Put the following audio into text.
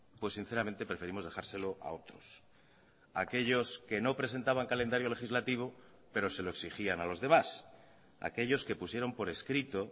pues sinceramente preferimos dejárselo a otros a aquellos que no presentaban calendario legislativo pero se lo exigían a los demás a aquellos que pusieron por escrito